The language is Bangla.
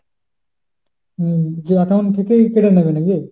হম যে account থেকেই কেটে নেবে নাকি?